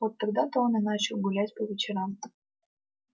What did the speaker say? вот тогда то он и начал гулять по вечерам